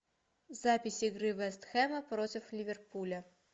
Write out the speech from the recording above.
запись игры вест хэма против ливерпуля